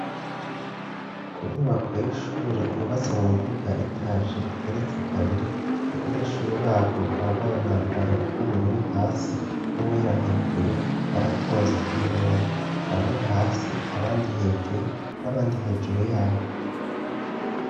Ku nyubako y'ishure yubatse mu buryo bwa etaje igeretse kabiri, abanyeshuri baho bambaye umwambaro w'ubururu hasi n'uwera hejuru baratonze ku mirongo, bamwe hasi abandi hejuru n'abandi hejuru yabo.